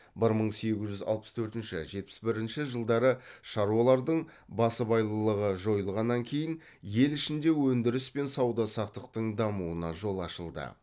бір мың сегіз жүз алпыс төртінші жетпіс бірінші жылдары шаруалардың басыбайлылығы жойылғаннан кейін ел ішінде өндіріс пен сауда саттықтың дамуына жол ашылды